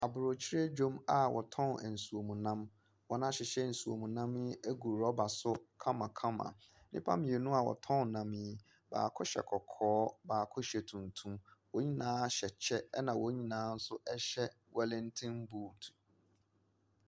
Aburokyire dwom a wɔtɔn nsuom nam. Wɔn ahyehyɛ nsuom nam yi egu rɔba so kamakama. Nnipa mmienu a wɔtɔn nam yi, baako hyɛ kɔkɔɔ. Baako hyɛ tuntum. Wɔn nyinaa hyɛ kyɛ, ɛna wɔn nyinaa so ɛhyɛ walatin boot.